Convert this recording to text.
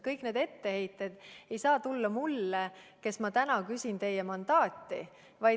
Kõik need etteheited ei saa tulla mulle, kes ma täna küsin teie mandaati.